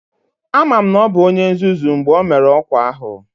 Ama m na ọ bụ onye nzuzu mgbe o mere ọkwa ahụ